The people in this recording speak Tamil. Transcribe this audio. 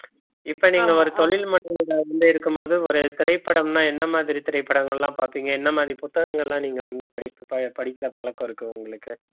இப்ப நீங்க ஒரு தொழில் இருக்கும்போது ஒரு திரைப்படம்னா என்ன மாதிரி திரைப்படங்கள் எல்லாம் பார்ப்பீங்க என்ன மாதிரி புத்தகங்கள் எல்லாம் நீங்க வந்து படித்து ப~ படிக்கிற பழக்கம் இருக்கு உங்களுக்கு